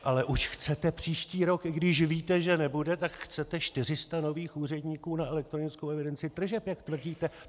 Ale už chcete příští rok, i když víte, že nebude, tak chcete 400 nových úředníků na elektronickou evidenci tržeb, jak tvrdíte.